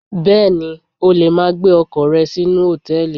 Bẹ́ẹ̀ni, o lè ma gbé ọkọ̀ rẹ sínú Hòtẹ́lìì.